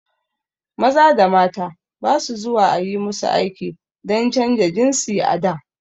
Maza da mata ba su zuwa ayi musu aiki dan canja jinsi a da